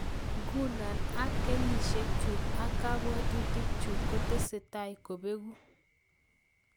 Nguno ak kenyisiek chu ak kabwatutikchu kotesetai kobeku